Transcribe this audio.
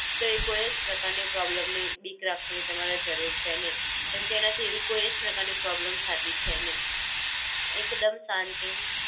તો એ કોઈ જ પ્રકાર ની પ્રૉબ્લેમ ની બીક રાખવાની તમારે જરૂર છે નહિ કેમકે એના થી એવી કોઈ જ પ્રકાર ની પ્રૉબ્લેમ થાતી છે નહિ, એકદમ શાંતિ થી